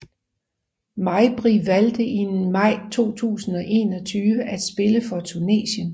Mejbri valgte i maj 2021 at spille for Tunesien